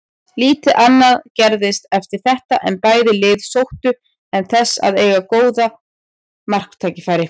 Lítið annað gerðist eftir þetta en bæði lið sóttu en þess að eiga góð marktækifæri.